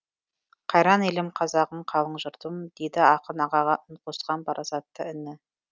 қайран елім қазағым қалың жұртым дейді ақын ағаға үн қосқан парасатты іні